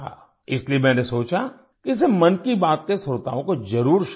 इसलिए मैंने सोचा कि इसे मन की बात के श्रोताओं को ज़रूर शेयर करूं